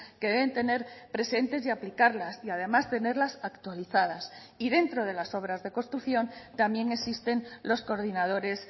que deben tener presentes y aplicarlas y además tenerlas actualizadas y dentro de las obras de construcción también existen los coordinadores